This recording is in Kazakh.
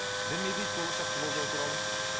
дін не дейді болашақты болжау туралы